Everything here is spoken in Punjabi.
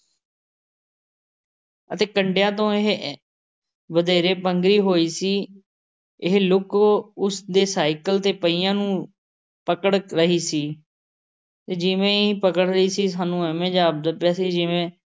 ਅਤੇ ਕੰਢਿਆਂ ਤੋਂ ਇਹ ਅਹ ਵਧੇਰੇ ਪੰਘਰੀ ਹੋਈ ਸੀ। ਇਹ ਲੁੱਕ ਉਸ ਦੇ ਸਾਈਕਲ ਦੇ ਪਹੀਆਂ ਨੂੰ ਪਕੜ ਰਹੀ ਸੀ ਅਤੇ ਜਿਵੇਂ ਹੀ ਪਕੜ ਰਹੀ ਸੀ, ਸਾਨੂੰ ਇਵੇਂ ਜਾਪਦਾ ਪਿਆ ਸੀ ਜਿਵੇਂ